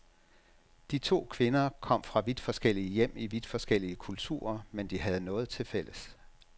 De to kvinder kom fra vidt forskellige hjem i vidt forskellige kulturer, men de havde noget tilfælles.